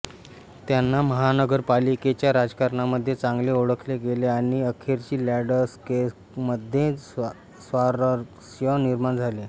त्यांना महानगरपालिकेच्या राजकारणामध्ये चांगले ओळखले गेले आणि अखेरीस लॅंडस्केकमध्ये स्वारस्य निर्माण झाले